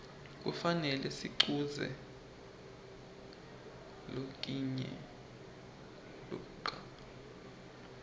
kufane sikuquze lokinye ludca